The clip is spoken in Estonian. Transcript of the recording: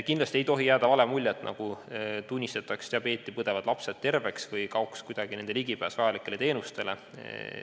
Kindlasti ei tohi jääda vale muljet, nagu tunnistataks diabeeti põdevad lapsed terveks või kaoks kuidagi nende ligipääs vajalikele teenustele.